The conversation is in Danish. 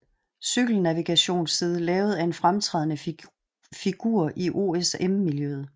Cykelnavigationsside lavet af en fremtrædende figur i OSM miljøet